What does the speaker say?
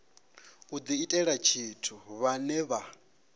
u diitela tshithu vhane vha